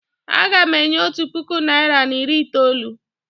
Aga m enye otu puku naịra na iri itoolu.